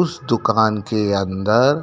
उस दुकान के अन्दर--